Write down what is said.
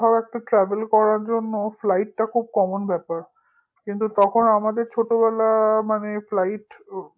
কোথাও travel করার জন্য travel টা খুব common ব্যাপার তখন আমাদের ছোটবেলা মানে flight